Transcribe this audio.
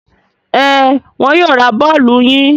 Ẹn, wọn yóò ra bọ́ọ́lù yín.